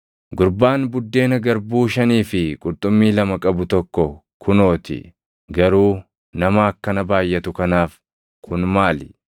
“Gurbaan buddeena garbuu shanii fi qurxummii lama qabu tokko kunoo ti; garuu nama akkana baayʼatu kanaaf kun maali?”